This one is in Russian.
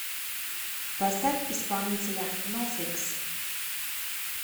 поставь исполнителя нофикс